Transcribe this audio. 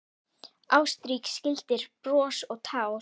Ástrík skildir bros og tár.